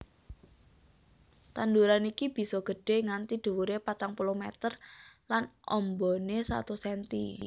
Tanduran iki bisa gedhè nganti dhuwuré patang puluh meter lan ambané satus senti